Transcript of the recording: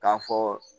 K'a fɔ